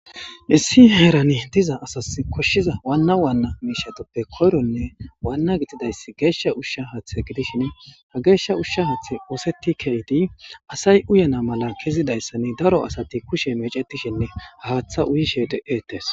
Issi heerani diza asas koshshiza waanna waanna miishatoppe koyronne waanna gitidayss geeshsha ushsha haathe gidishin ha geeshsha ushsha haathe uuseti keidi asay uyana mala kezidayssani daro asati kushe mecetishinne haaththa uyishe de'etees.